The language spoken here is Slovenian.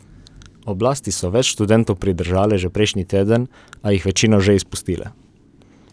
Oblasti so več študentov pridržale že prejšnji teden, a jih večino že izpustile.